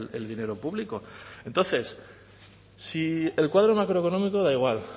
el dinero público entonces si el cuadro macroeconómico da igual